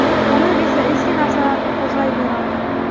Onam esa eski narsalarni qo‘zg‘ayverardi.